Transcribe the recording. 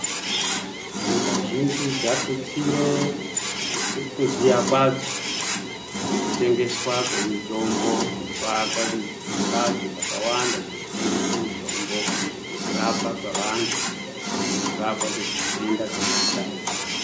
Nyika zhinji dzatutsire kuziya kwadzo nekutengeswa kwemitombo nekuaka mbatso dzakawanda dzinotengesa mitombo nekurapwa kwevantu nekurapwa kwenhenda dzakasiyana siyana.